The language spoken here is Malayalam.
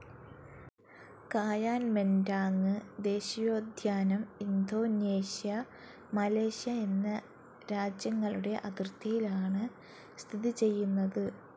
കായാൻ മെൻ്റാങ് ദേശീയോദ്യാനം, ഇന്തോനേഷ്യ, മലേഷ്യ എന്ന രാജ്യങ്ങളുടെ അതിർത്തിയിലാണ് സ്ഥിതി ചെയ്യുന്നത്.